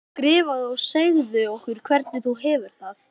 Skrifaðu og segðu okkur hvernig þú hefur það.